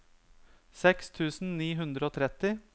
seks tusen ni hundre og tretti